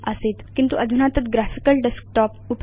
आसीत् किन्तु अधुना तत् ग्राफिकल डेस्कटॉप